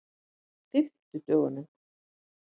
fimmtudögunum